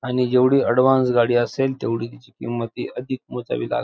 आणि जेवढी ऍडव्हान्स गाडी असेल तेवढी तिची किंमतही अधिक मोजावी लाग --